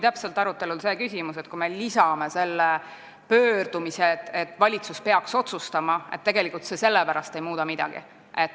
Arutelul oli see küsimus, et kui me lisame selle pöördumise, et valitsus peaks otsustama, siis see tegelikult ei muuda midagi.